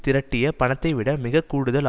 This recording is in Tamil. திரட்டிய பணத்தைவிட மிக கூடுதல் ஆ